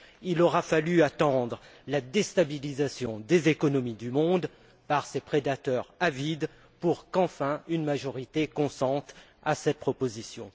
Il aura fallu attendre la déstabilisation des économies du monde par ces prédateurs avides pour qu'enfin, une majorité consente à cette proposition.